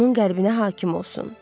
onun qəlbinə hakim olsun.